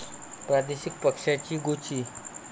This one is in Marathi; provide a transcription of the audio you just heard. प्रादेशिक पक्षांची गोची